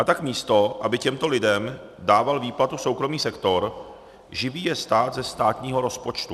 A tak místo aby těmto lidem dával výplatu soukromý sektor, živí je stát ze státního rozpočtu.